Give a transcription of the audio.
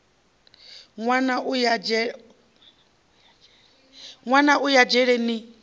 nwana a ya dzhele ni